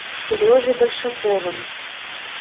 сережей большаковым